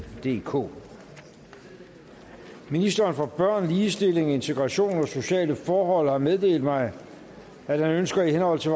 DK ministeren for børn ligestilling integration og sociale forhold har meddelt mig at han ønsker i henhold til